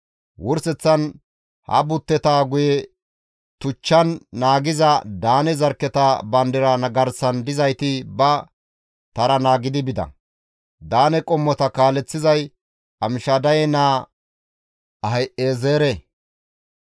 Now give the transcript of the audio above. Wurseththan ha butteta guye tuchchan naagiza Daane zarkketa bandira garsan dizayti ba tara naagidi bida; Daane qommota kaaleththizay Amishadaye naa Ahi7ezeere.